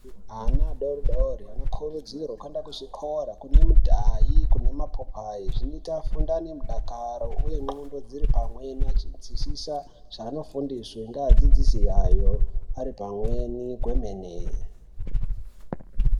Ana adoridori anokurudzirwa kuenda kuzvikora kune midhayi kune mapopayi zvinoita afunde aine midakaro uye ndxondo dziripamwe achinzwisisa zvaanofundiswa ngeadzidzisi ayo aripamweni kwemene .